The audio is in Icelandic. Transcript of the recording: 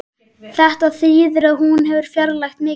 Þetta þýðir að hún hefur fjarlægst mikið